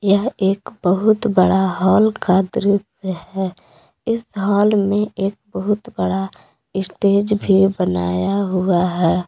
यह एक बहुत बड़ा हॉल का दृश्य है इस हॉल में एक बहुत बड़ा स्टेज भी बनाया हुआ है।